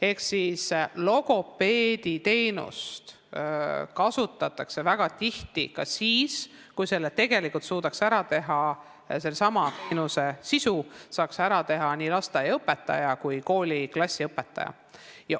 Ehk logopeediteenust kasutatakse väga tihti ka siis, kui tegelikult suudaks sellesama teenuse sisu pakkuda nii lasteaiaõpetaja kui ka koolis klassiõpetaja.